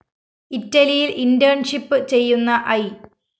ഇറ്റലിയില്‍ internship ചെയ്യുന്ന I